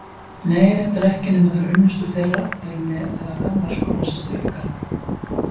Nei, reyndar ekki nema þegar unnustur þeirra eru með eða gamlar skólasystur ykkar.